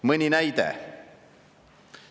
Mõni näide.